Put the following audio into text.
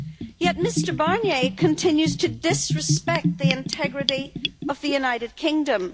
Yet, Mr Barnier continues to disrespect the integrity of the United Kingdom.